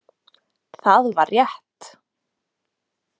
Það var rétt.